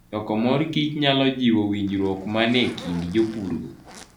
Choko mor kich nyalo jiwo winjruok manie kind jopurgo.